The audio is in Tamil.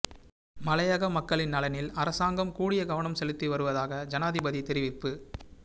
மலையக மக்களின் நலனில் அரசாங்கம் கூடிய கவனம் செலுத்திவருவதாக ஜனாதிபதி தெரிவிப்பு